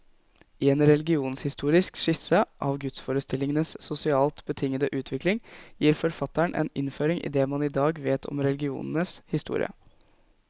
I en religionshistorisk skisse av gudsforestillingenes sosialt betingede utvikling, gir forfatteren en innføring i det man i dag vet om religionens historie.